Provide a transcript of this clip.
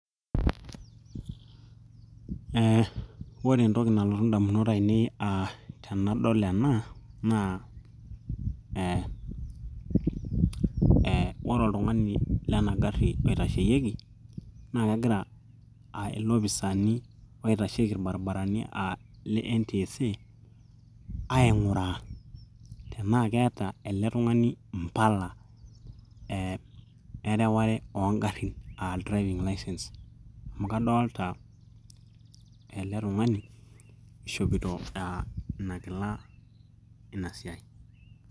eh, ore entoki nalotu indamunot ainei tenadol ena naa eh, ore oltung'ani lena garri oitasheyieki naa kegira ilopisaani oitasheki orbaribarani uh le NTSA aing'uraa tenaa keeta ele tung'ani impala eh, ereware oongarrin uh, driving license amu kadolta ele tung'ani ishopito uh, ina kila ina siai.